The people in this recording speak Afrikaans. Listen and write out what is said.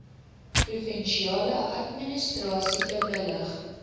provinsiale administrasie bewillig